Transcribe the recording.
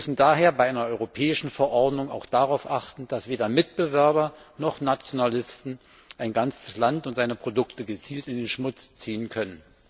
Wir müssen daher bei einer europäischen Verordnung auch darauf achten, dass weder Mitbewerber noch Nationalisten ein ganzes Land und seine Produkte in den Schmutz ziehen können.